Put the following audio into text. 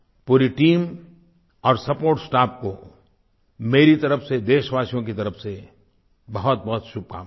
पूरी टीम और support staff को मेरी तरफ से देशवासियों की तरफ से बहुतबहुत शुभकामनाएँ